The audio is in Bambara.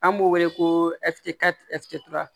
An b'o wele ko